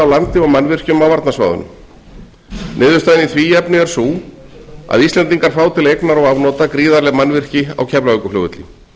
landi og mannvirkjum á varnarsvæðunum niðurstaðan í því efni er sú að íslendingar fá til eignar og afnota gríðarleg mannvirki á keflavíkurflugvelli